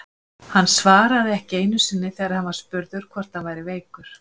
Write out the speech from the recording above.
Hann svaraði ekki einu sinni þegar hann var spurður hvort hann væri veikur!